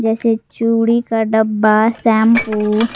जैसे चूड़ी का डब्बा शैंपू --